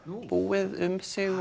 búið um sig